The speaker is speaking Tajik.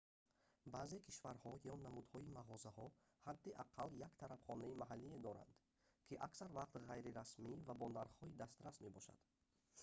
баъзе кишварҳо ё намудҳои мағозаҳо ҳадди аққал як тарабхонаи маҳаллие доранд ки аксар вақт ғайрирасмӣ ва бо нархҳои дастрас мебошад